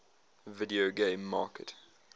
video game market